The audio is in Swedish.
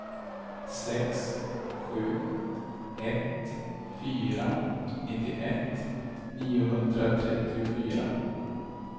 sex sju ett fyra nittioett niohundratrettiofyra